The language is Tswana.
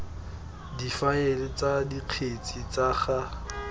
difaele tsa dikgetse tsa ga